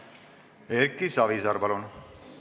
Erki Savisaar, palun!